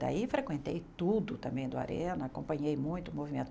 Daí frequentei tudo também do Arena, acompanhei muito o movimento.